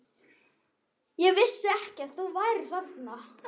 Ég vissi ekki að þú værir þarna.